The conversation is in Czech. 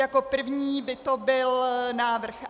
Jako první by to byl návrh